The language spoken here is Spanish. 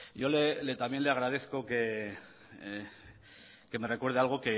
yo también le agradezco que me recuerde algo